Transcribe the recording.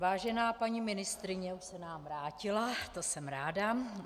Vážená paní ministryně - už se nám vrátila, to jsem ráda.